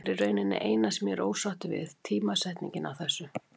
Það er í rauninni eina sem ég er ósáttur við, tímasetningin á þessu.